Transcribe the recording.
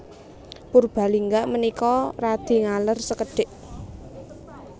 Purbalingga menika radi ngaler sekedhik